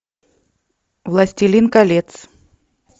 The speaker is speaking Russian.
властелин колец